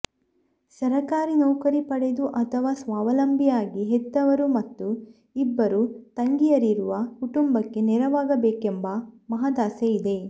ಸರಕಾರಿ ನೌಕರಿ ಪಡೆದು ಅಥವಾ ಸ್ವಾವಲಂಬಿಯಾಗಿ ಹೆತ್ತವರು ಮತ್ತು ಇಬ್ಬರು ತಂಗಿಯರಿರುವ ಕುಟುಂಬಕ್ಕೆ ನೆರವಾಗಬೇಕೆಂಬ ಮಹದಾಸೆ ಇದೆ